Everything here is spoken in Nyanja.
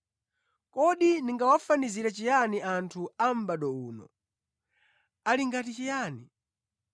“Kodi ndingawafanizire chiyani anthu a mʼbado uno? Ali ngati chiyani?